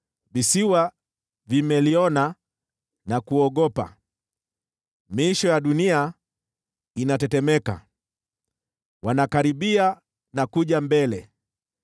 Visiwa vimeliona na kuogopa, miisho ya dunia inatetemeka. Wanakaribia na kuja mbele,